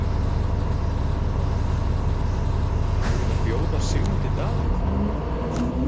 Magnús: Og búin að bjóða Sigmundi Davíð?